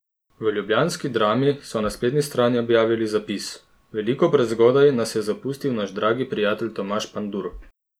V ljubljanski Drami so na spletni strani objavili zapis: "Veliko prezgodaj nas je zapustil naš dragi prijatelj Tomaž Pandur.